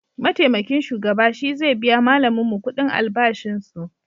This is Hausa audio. Maitamakin shugaba shi ze biya malaminmu kudin albashin su